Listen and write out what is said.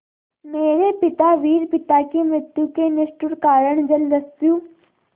मेरे पिता वीर पिता की मृत्यु के निष्ठुर कारण जलदस्यु